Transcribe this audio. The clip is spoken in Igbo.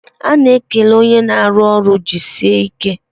A na-ekele onye na-arụ ọrụ "jisie ike"